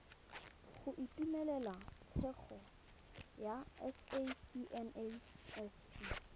go itumelela tshegetso ya sacnasp